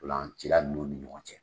Tolanci nunnu ni ɲɔgɔn cɛ.